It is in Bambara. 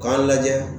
K'a lajɛ